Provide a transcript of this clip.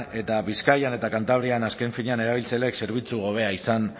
eta bizkaian eta kantabrian azken finean erabiltzaileek zerbitzu hobea izan